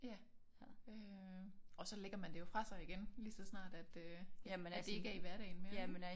Ja øh og så lægger man det jo fra sig igen lige så snart at øh at det ikke er i hverdagen mere ik